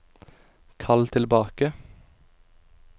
kall tilbake